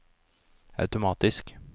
automatisk